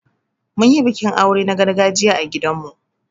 Mun yi bikin aure na gargajiya a gidan mu.